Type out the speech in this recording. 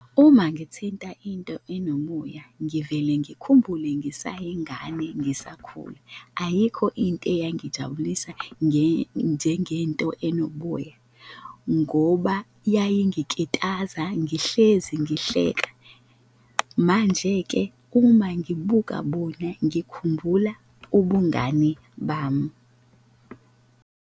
Uma ngithinta into enomoya, ngivele ngikhumbule ngisayingane, ngisakhula. Ayikho into eyangijabulisa njengento enoboya ngoba yayingikitaza, ngihlezi ngihleka, manje-ke uma ngibuka bona ngikhumbula ubungane bami.